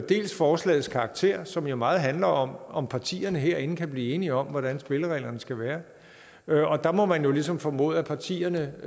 forslagets karakter som jo meget handler om om partierne herinde kan blive enige om hvordan spillereglerne skal være og der må man jo ligesom formode at partierne